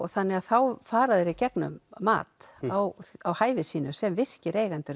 þannig að þá fara þeir í gegnum mat á á hæfi sínu sem virkir eigendur